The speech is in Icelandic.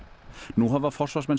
nú hafa forsvarsmenn